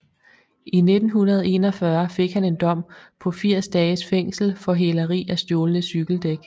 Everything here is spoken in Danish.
I 1941 fik han en dom på 80 dages fængsel for hæleri af stjålne cykeldæk